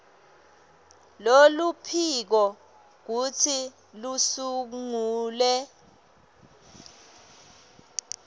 loluphiko kutsi lusungule